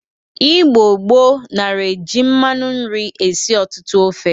Igbo gboo nara eji mmanụ nri esi ọtụtụ ofe.